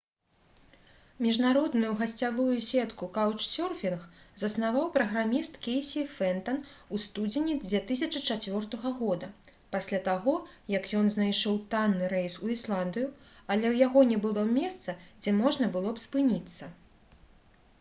міжнародную гасцявую сетку «каўчсёрфінг» заснаваў праграміст кейсі фентан у студзені 2004 г. пасля таго як ён знайшоў танны рэйс у ісландыю але ў яго не было месца дзе можна было б спыніцца